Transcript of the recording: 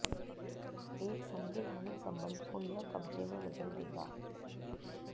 एक संवैधानिक संबंध को यह कब्जे में बदल देगा